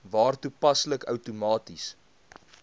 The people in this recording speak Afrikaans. waar toepaslik outomaties